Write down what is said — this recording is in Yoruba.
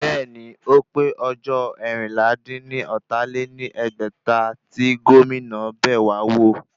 Bẹ́ẹ̀ni, ó pé ọjọ́ eérinlá-dín-ní-ọ́ta lé ní ẹgbẹ́ta tí Gómìnà bẹ̀wá wò